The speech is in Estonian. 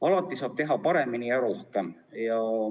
Alati saab teha paremini ja rohkem.